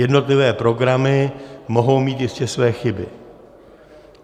Jednotlivé programy mohou mít jistě své chyby.